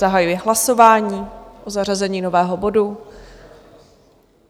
Zahajuji hlasování o zařazení nového bodu.